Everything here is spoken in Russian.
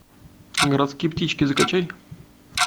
городские птички закачай